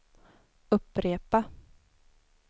upprepa